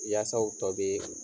Yaasa o tɔ bɛɛɛ.